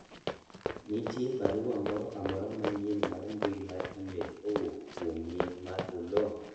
nitie barua moro amora manyien mar mbui mar email kowuok kuom nying mar oloo